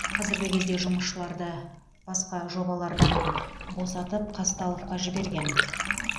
қазіргі кезде жұмысшыларды басқа жобалардан босатып қазталовқа жіберген